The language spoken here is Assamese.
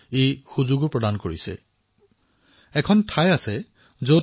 এটা স্থানতেই দেশৰ বৈচিত্ৰতা নোচোৱাকৈ থকাটো অসম্ভৱেই প্ৰায়